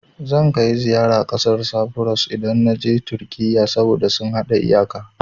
Zan kai ziyara ƙasar Safuros, idan na je Turkiyya, saboda sun haɗa iyaka.